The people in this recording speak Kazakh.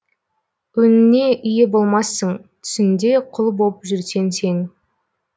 өңіңе ие болмассың түсіңде құл боп жүрсең сен